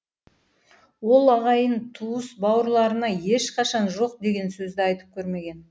ол ағайын туыс бауырларына ешқашан жоқ деген сөзді айтып көрмеген